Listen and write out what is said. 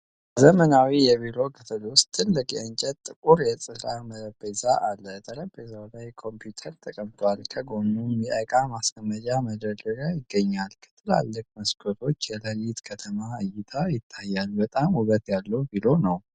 ከዘመናዊ የቢሮው ክፍል ውስጥ ትልቅ የእንጨትና ጥቁር የሥራ ጠረጴዛ አለ። ጠረጴዛው ላይ ኮምፒውተር ተቀምጧል፣ ከጎኑም የእቃ ማስቀመጫ መደርደሪያ ይገኛል። ከትላልቅ መስኮቶች የሌሊት ከተማ እይታ ይታያል። በጣም ውበት ያለው ቢሮ ነው።